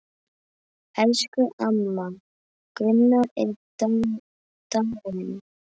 Elsku amma Gunna er dáin.